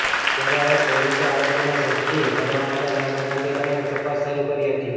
ત્યારે હવે પોલીસે આરોપીને ઝડપી પાડવા માટે નાકાબંધી કરીને તપાસ શરૂ કરી હતી